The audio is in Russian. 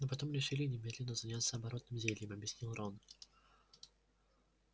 но потом решили немедленно заняться оборотным зельем объяснил рон